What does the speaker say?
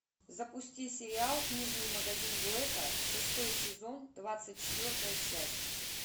запусти сериал книжный магазин блэка шестой сезон двадцать четвертая часть